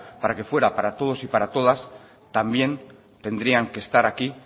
para que fuera para todos y para todas también tendrían que estar aquí